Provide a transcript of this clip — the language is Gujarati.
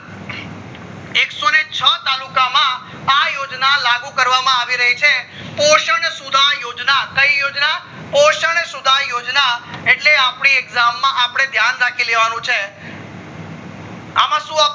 એકસોને છ તાલુકા માં આ યોજના લાગુ કરવામાં આવી રહી છે પોષણ સુધા યોજના કઈ યોજના પોષણ સુધા યોજના એટલે આપડી exam માં અપડે ધ્યાન રાખી લેવાનું છે આમાં શું